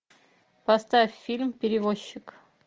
поставь фильм перевозчик